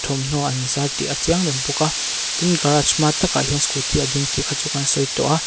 thawmhnaw an zar tih a chiang reng bawk a tin garage hma takah hian scooty a ding tih kha chu kan sawi tawh a.